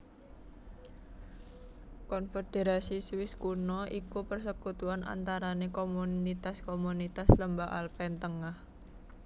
Konfederasi Swiss Kuno iku persekutuan antarane komunitas komunitas lembah Alpen tengah